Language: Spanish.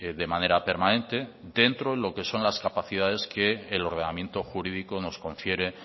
de manera permanente dentro de lo que son las capacidades que el ordenamiento jurídico nos confiere